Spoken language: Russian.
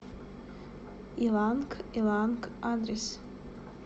иланг иланг адрес